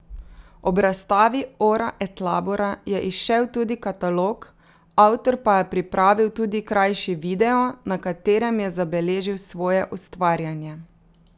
Ob razstavi Ora et labora je izšel tudi katalog, avtor pa je pripravil tudi krajši video, na katerem je zabeležil svoje ustvarjanje.